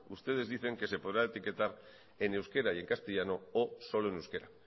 ustedes dicen que se podrá etiquetar en euskera y en castellano o solo en euskera